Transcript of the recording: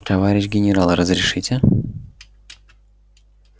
товарищ генерал разрешите